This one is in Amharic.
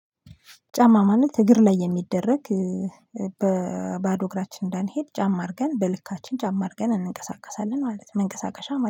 ጫማ ማለት እግር ላይ የሚደረግ በባዶ እግራችን እንዳንሄድ ጫማ አድርገን በልካችን ጫማ አድርገን እንቀሳቀሳለን ማለት ነው መንቀሳቀሻ ማለት ነው